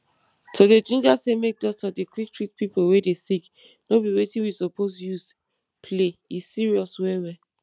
to dey ginger say make doctor dey quick treat pipo wey dey sick nor be wetin we supose use play e serious well well